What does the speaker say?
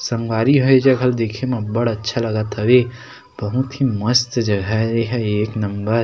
सांगरी होय ये जगह दिखे म बढ़ अच्छा लागत हवे कहिथिन मस्त जगह हवे एहा एक नंबर --